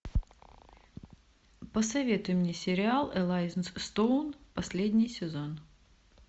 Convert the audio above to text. посоветуй мне сериал элай стоун последний сезон